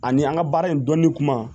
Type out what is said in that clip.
Ani an ka baara in dɔnni kuma